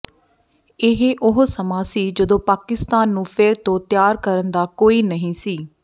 ਇਹ ਉਹ ਸਮਾਂ ਸੀ ਜਦੋਂ ਪਾਕਿਸਤਾਨ ਨੂੰ ਫਿਰ ਤੋਂ ਤਿਆਰ ਕਰਨ ਦਾ ਕੋਈ ਨਹੀਂ ਸੀ